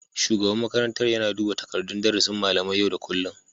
Shugaban makarantar yana duba takardun darasin malamai yau da kullum